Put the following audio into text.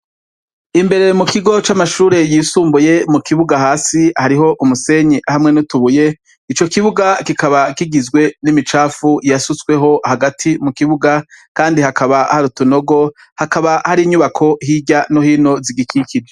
Imbere mu kigo camashure yisumbuye mukibuga hasi hariho umusenyi hamwe n’utubuye, ico kibuga kikaba kigizwe n’imicafu yasutzweho hagati mukibuga kandi hakaba hari utunogo hakaba hari nyubako hirya no hino zigikikije.